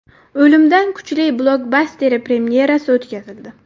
O‘limdan kuchli” blokbasteri premyerasi o‘tkazildi .